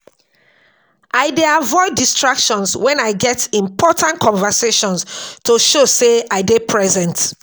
I dey avoid distractions wen I get important conversations to show sey I dey present.